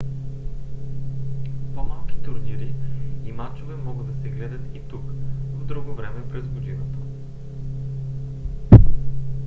по-малки турнири и мачове могат да се гледат и тук в друго време през годината